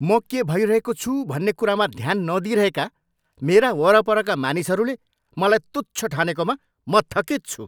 म के भइरहेको छु भन्ने कुरामा ध्यान नदिइरहेका मेरा वरपरका मानिसहरूले मलाई तुच्छ ठानेकोमा म थकित छु।